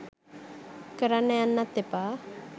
කරන්න යන්නත් එපා